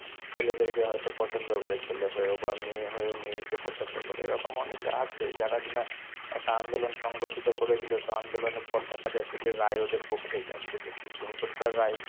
ছেলেদেরকে হয়তো পছন্দ করে ছেলে হয়েও, বা মেয়ে হয়েও মেয়েকে পছন্দ করে, এরকম অনেকে আছে যারা কিনা একটা আন্দোলন সংগঠিত করেছিল, তো আন্দোলনের পর দেখা যাচ্ছে যে রায় ওদের পক্ষেই যাচ্ছে, তো সুপ্রিমকোর্ট তার রায়,